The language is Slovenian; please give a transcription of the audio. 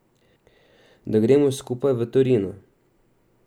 Da gremo skupaj v Torino.